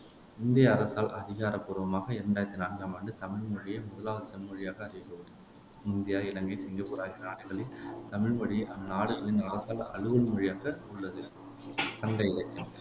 இந்திய அரசால் அதிகாரப்பூர்வமாக இரண்டாயிரத்தி நான்காம் ஆண்டு தமிழ் மொழியே முதலாவது செம்மொழியாக அறிவிக்கப்பட்டது இந்தியா, இலங்கை, சிங்கப்பூர் ஆகிய நாடுகளில் தமிழ் மொழி அந்நாடுகளின் அரசால் அலுவல் மொழியாக உள்ளது சங்க இலக்கியம்